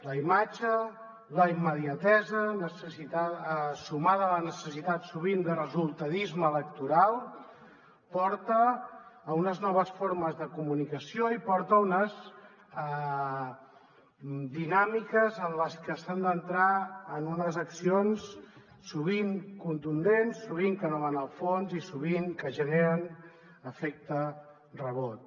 la imatge la immediatesa sumades a la necessitat sovint de resultadisme electoral porten a unes noves formes de comunicació i porten a unes dinàmiques en les que s’han d’entrar en unes accions sovint contundents sovint que no van al fons i sovint que generen efecte rebot